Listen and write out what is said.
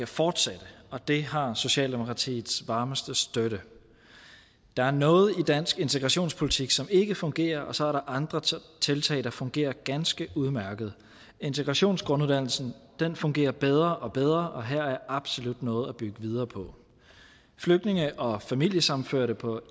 fortsætte og det har socialdemokratiets varmeste støtte der er noget i dansk integrationspolitik som ikke fungerer og så er der andre tiltag der fungerer ganske udmærket integrationsgrunduddannelsen fungerer bedre og bedre og her er absolut noget at bygge videre på flygtninge og familiesammenførte på